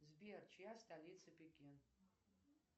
сбер чья столица пекин